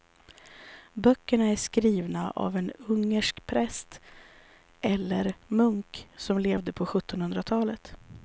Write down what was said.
Böckerna är skrivna av en ungersk präst eller munk som levde på sjuttonhundratalet.